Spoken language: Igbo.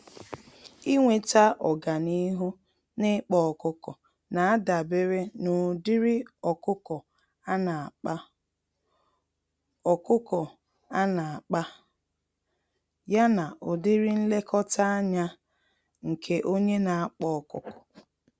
Ịnweta ọganihu n'ịkpa ọkụkọ, nadabere n'ụdịrị ọkụkọ ana-akpa, ọkụkọ ana-akpa, ya na ụdịrị nlekọta ányá nke onye n'akpa ọkụkọ.